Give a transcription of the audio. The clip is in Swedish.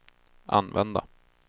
använda